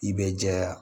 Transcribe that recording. I bɛ jɛya